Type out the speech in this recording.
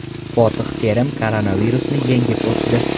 Fotih Terim koronavirusni yengib o‘tdi.